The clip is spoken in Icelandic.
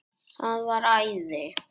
Það var æði.